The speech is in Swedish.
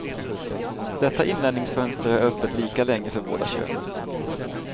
Detta inlärningsfönster är öppet lika länge för båda könen.